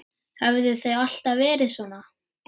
Höfðu þau alltaf verið svona?